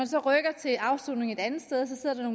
så rykker til afsoning et andet sted så sidder der